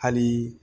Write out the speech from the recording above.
Hali